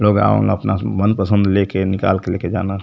लोग आवेलन अपना मनपसंद लेके निकालके लेके जाना --